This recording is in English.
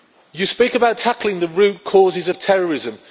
You speak about tackling the root causes of terrorism.